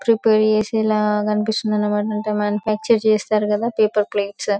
prepare చేసే లాగా కనిపిస్తుంది అన్నమాట మ్యానుఫ్యాక్చర్ చేస్తారు కదా పేపర్ ప్లేట్స్ --